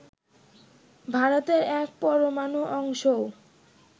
ভারতের এক পরমাণু অংশও